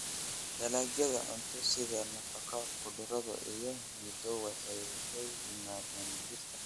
Dalagyada cunto sida nafaka, khudrado, iyo midho waxay ka yimaadaan dhirta.